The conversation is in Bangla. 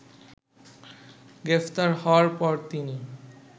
গ্রেফতার হওয়ার পর তিনি